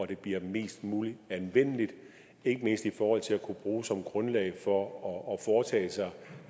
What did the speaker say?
det bliver mest muligt anvendeligt ikke mindst i forhold til at kunne bruges som grundlag for at foretage